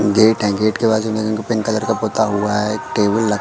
Gate हैं gate के बाजू में पिंक कलर का पोता हुआ है एक टेबल है।